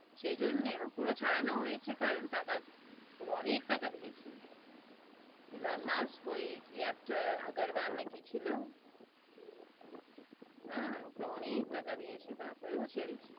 সেজন্যে, পুরো ছাড়ানো হয়েছে কারণ টাকা, পুরো অনেক টাকা দিয়েছে এলোন মাস্ক ওই কি একটা আগরওয়াল না কি ছিল, হ্যা ওকে অনেক টাকা দিয়েছে তার পর ও ছেড়েছে,